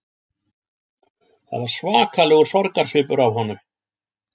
Það var svakalegur sorgarsvipur á honum